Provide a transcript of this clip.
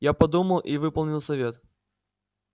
я подумал и выполнил совет